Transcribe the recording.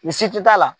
Ni si ti t'a la